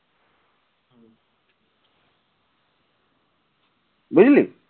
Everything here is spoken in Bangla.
বুঝলি